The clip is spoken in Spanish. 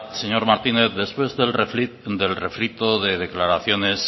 señor martínez después del refrito de declaraciones